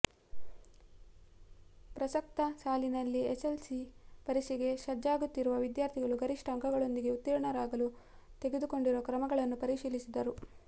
ಪ್ರಸಕ್ತ ಸಾಲಿನಲ್ಲಿ ಎಸ್ಸೆಸ್ಸೆಲ್ಸಿ ಪರೀಕ್ಷೆಗೆ ಸಜ್ಜಾಗುತ್ತಿರುವ ವಿದ್ಯಾರ್ಥಿಗಳು ಗರಿಷ್ಠ ಅಂಕಗಳೊಂದಿಗೆ ಉತ್ತೀರ್ಣರಾಗಲು ತೆಗೆದುಕೊಂಡಿರುವ ಕ್ರಮಗಳನ್ನು ಪರಿಶೀಲಿಸಿದರು